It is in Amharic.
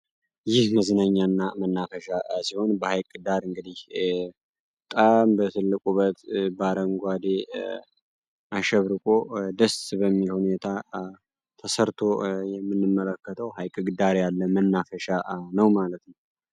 ይህ መዝናኛ እና መናፈሻ ሲሆን በሃይቅ ዳር እንግዲህ በጣም በትልቅ ውበት በአረንጓዴ አሸብርቆ ደስ በሚል ሁኔታ ተሰርቶ የምንመለከተው ሀይቅ ዳር ያለ መናፈሻ ነው።